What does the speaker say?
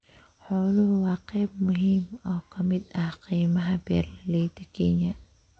Xooluhu waa qayb muhiim ah oo ka mid ah kaymaha beeralayda Kenya.